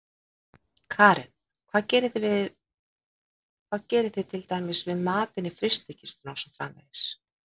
Karen: Hvað gerið þið til dæmir við matinn inni í frystikistunni og svo framvegis?